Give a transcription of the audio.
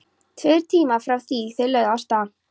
Tveir tímar frá því þeir lögðu af stað.